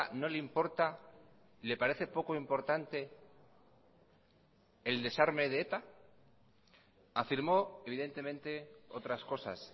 no le importa le parece poco importante el desarme de eta afirmó evidentemente otras cosas